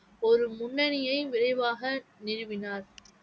ஒரு முன்னனியை விரைவாக நிறுவினார்